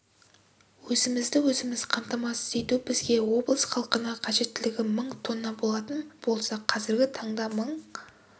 өзімізді өзіміз қамтамасыз ету бізге облыс халқына қажеттілігі мың тонна болатын болса қазіргі таңда мың